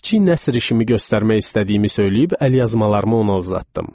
Kiçik nəsr işimi göstərmək istədiyimi söyləyib əlyazmalarımı ona uzatdım.